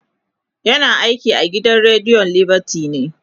yana aiki a gidan rediyon liberty ne